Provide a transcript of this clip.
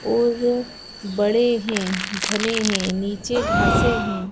और बड़े है घने है नीचे घांसे है।